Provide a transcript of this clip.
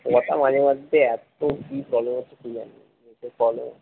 তোর কথা মাঝে মাঝে